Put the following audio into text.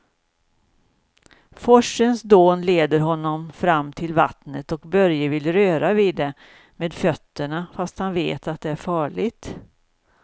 Forsens dån leder honom fram till vattnet och Börje vill röra vid det med fötterna, fast han vet att det är farligt.